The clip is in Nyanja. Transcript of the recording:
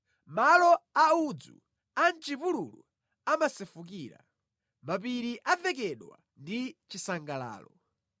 Malo a udzu a mʼchipululu amasefukira; mapiri avekedwa ndi chisangalalo.